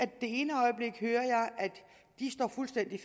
det ene øjeblik hører at de står fuldstændig